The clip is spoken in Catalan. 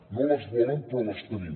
no les volen però les tenim